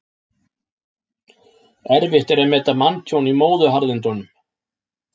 Erfitt er að meta manntjón í móðuharðindum.